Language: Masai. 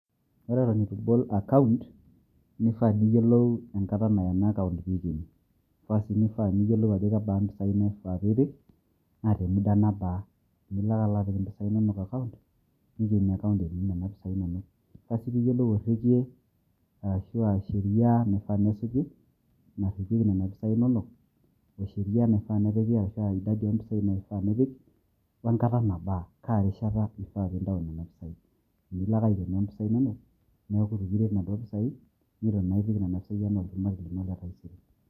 Ore eton etu ibol[cs account nifaa niyiolou enkataa neya ena account eton etu peikeni, baasi nifaa niyiolou impisai nifaa peipik, na temuda nabaa, milo ake apik empisai inono account nikeni account eti nena pisai inono, neifaa si piyiolou orekie ashu asheria naifaa nesuji naripieki nena pisai inono ,osherie nefaa napiki ashu oidadi ompisai neifaa pipik wenkataa nabaa kaa rishata ifaa pintayu nena pisai milo ake aikeno mpisai inono niaku etu kiret nana pisai netu naa ipik nena pisai ena olchumati lino letaisere.